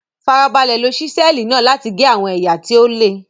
Farabalẹ̀ lo Ṣísẹ́ẹ̀lì náà láti gé àwọn ẹ̀yà tí ó le.